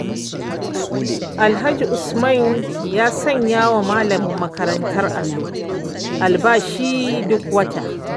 Alhaji Usman ya sanyawa malamin makarantar allon albashi duk wata.